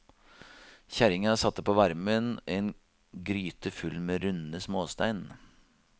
Kjerringa satte på varmen en gryte full med runde småstein.